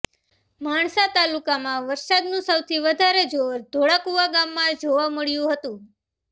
માણસા તાલુકામાં વરસાદનું સૌથી વધારે જોર ધોળાકુવા ગામમાં જોવા મળ્યુ હતું